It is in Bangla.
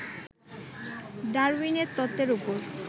ডারউইনের তত্বের ওপর